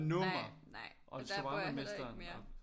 Nej nej og der bor jeg heller ikke mere